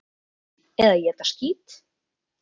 Eða éta skít!